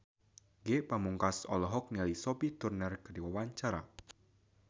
Ge Pamungkas olohok ningali Sophie Turner keur diwawancara